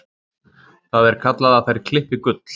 Það er kallað að þær klippi gull.